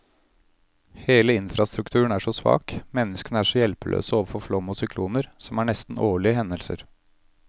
Hele infrastrukturen er så svak, menneskene er så hjelpeløse overfor flom og sykloner, som er nesten årlige hendelser.